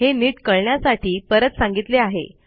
हे नीट कळण्यासाठी परत सांगितले आहे